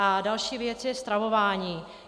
A další věc je stravování.